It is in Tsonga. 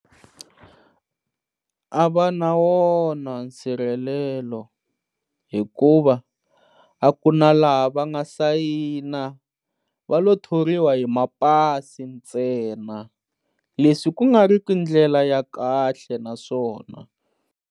A va na wona nsirhelelo hikuva a ku na laha va nga sayina va lo thoriwa hi mapasi ntsena leswi ku nga ri ku ndlela ya kahle naswona.